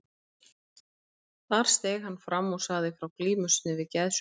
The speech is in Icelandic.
Þar steig hann fram og sagði frá glímu sinni við geðsjúkdóm.